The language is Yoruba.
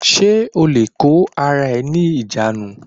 Ṣé o lè kó ara rẹ ní ìjánu